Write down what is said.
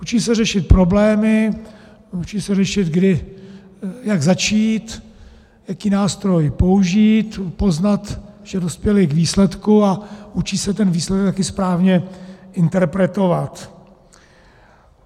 Učí se řešit problémy, učí se řešit, jak začít, jaký nástroj použít, poznat, že dospěli k výsledku, a učí se ten výsledek také správně interpretovat.